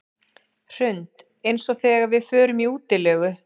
Hrund: Eins og þegar við förum í útilegu?